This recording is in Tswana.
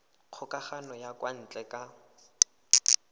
kgokagano ya kwa ntle ka